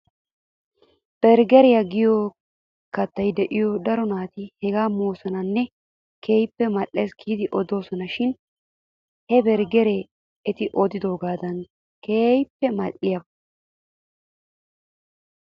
Berggeriyaa giyoo kattay de'iyaa daro naati hegaa moosonanne keehipp mal'es giidi odoosona shin he berggeree eti odiyoogaadan keehippe mal'iyaabee ?